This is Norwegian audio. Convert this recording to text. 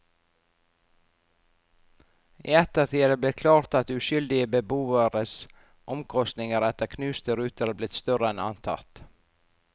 I ettertid er det blitt klart at uskyldige beboeres omkostninger etter knuste ruter er blitt større enn antatt.